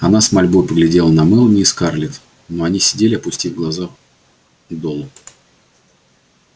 она с мольбой поглядела на мелани и скарлетт но они сидели опустив глаза долу